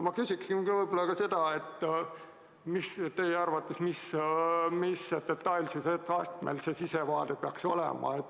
Ma küsingi, millisel detailsusastmel teie arvates see sissevaade peaks olema.